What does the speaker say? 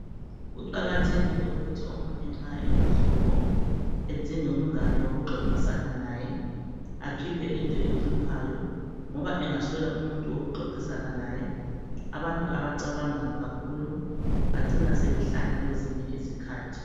Kuqakathekile ukuthi omunye nxa elohlupho edinge umngane wokuxoxisana laye akhiphe into emhluphayo ngoba engaswela umuntu wokuxoxisana laye abantu abacabanga kakhulu bacina sebehlanya kwezinye izikhathi